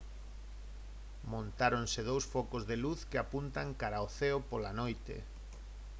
montáronse dous focos de luz que apuntan cara ao ceo pola noite